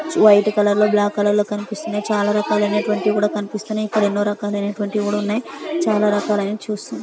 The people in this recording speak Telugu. వైట్ కలర్ లో బ్లాక్ కలర్ లో కనిపిస్తున్నాయ్. చాలా రకాలైనటువంటి కూడా కనిపిస్తున్నాయ్. ఇక్కడ ఎన్నో రకాలైనటువంటి కూడా ఉన్నాయ్. చాలా రకాలైన చూస్--